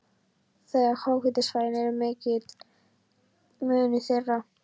Þegar háhitasvæðin eru athuguð kemur í ljós mikill munur þeirra.